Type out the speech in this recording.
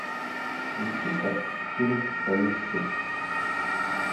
включи ка фильм салют семь